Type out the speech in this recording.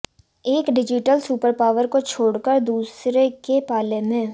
एक digital superpower को छोड़कर दूसरे के पाले में